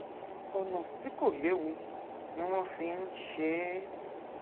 ọnà tí kò léwu ni wọn fi ń ń ṣe é